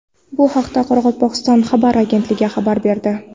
Bu haqda Qoraqalpog‘iston xabar agentligi xabar berdi .